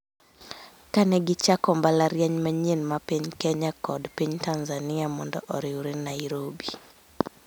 ka ne gichako mbalariany manyien ma piny Kenya kod piny Tanzania mondo oriwre Nairobi.